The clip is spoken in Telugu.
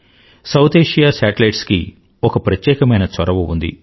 సౌత్ ఏషియా శాటిలైట్స్ కి ఒక ప్రత్యేకమైన చొరవ ఉంది